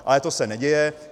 Ale to se neděje.